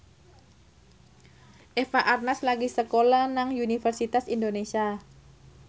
Eva Arnaz lagi sekolah nang Universitas Indonesia